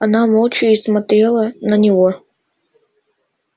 она молча и смотрела на него